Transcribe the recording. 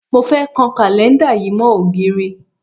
Mo fẹ́ kan kàlẹ́ńdà yìí mọ́ ògiri